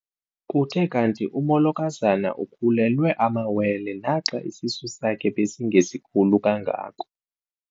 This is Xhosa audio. Kuthe kanti umolokazana ukhulelwe amawele naxa isisu sakhe besingesikhulu kangako.